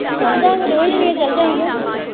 ਚੱਲ ਜਾਵਾਂਗੇ ਦੋਵੇਂ ਜਾਣੀਆਂ ਚੱਲ ਜਾਵਾਂਗੇ।